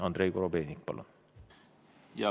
Andrei Korobeinik, palun!